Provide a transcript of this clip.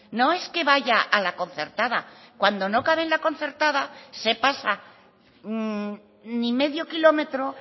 no es que vaya a la concertada cuando no cabe en la concertada se pasa ni medio kilómetro